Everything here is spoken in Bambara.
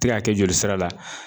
Ti ka kɛ joli sira la.